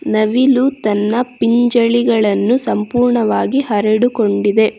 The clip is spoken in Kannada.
ನವಿಲು ತನ್ನ ಪಿಂಜಳಿಗಳನ್ನು ಸಂಪೂರ್ಣವಾಗಿ ಹರಡುಕೊಂಡಿದೆ.